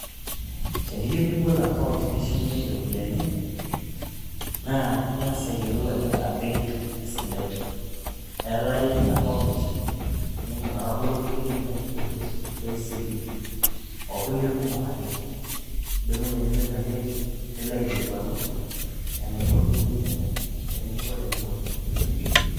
teniyieu nibol account nishumie iropiyiani naa ing'as ayiolou ajoo kaa benki esidai...Etaii account nikindim ataboloki benki ee kcb okulie kumok ake nidumunye nilo ina benk i nilo aikilikuanu enikoni eniyieu enibol